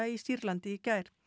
í Sýrlandi í gær